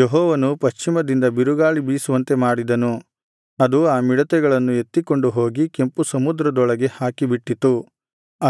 ಯೆಹೋವನು ಪಶ್ಚಿಮದಿಂದ ಬಿರುಗಾಳಿ ಬೀಸುವಂತೆ ಮಾಡಿದನು ಅದು ಆ ಮಿಡತೆಗಳನ್ನು ಎತ್ತಿಕೊಂಡು ಹೋಗಿ ಕೆಂಪುಸಮುದ್ರದೊಳಗೆ ಹಾಕಿಬಿಟ್ಟಿತು